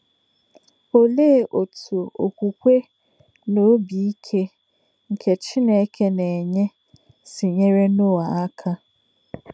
Òlèé òtú òkwùkwè nà òbí íké nke Chínèkè nà-ènyè sì nyèrè Noà àkà?